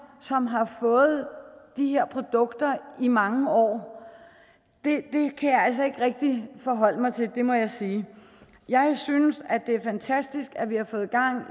som har fået de her produkter i mange år det kan jeg altså ikke rigtig forholde mig til det må jeg sige jeg synes det er fantastisk at vi har fået gang i